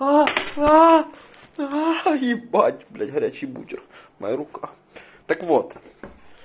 аа аа ебать блять горячий бутер моя рука так вот